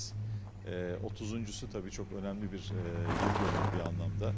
Eee 30-uncusu təbii ki, çox önəmli bir eee ildönümü bir mənada.